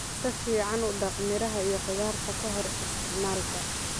Si fiican u dhaq miraha iyo khudaarta ka hor isticmaalka.